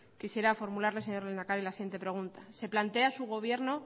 quisiera formularse señor lehendakari la siguiente pregunta se plantea su gobierno